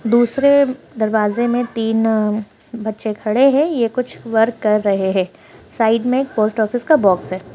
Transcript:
दूसरे दरवाजे मे तीन बच्चे खड़े है ये कुछ वर्क कर रहे है साइड में पोस्ट ऑफिस का बॉक्स है।